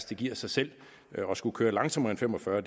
det giver sig selv og at skulle køre langsommere end fem og fyrre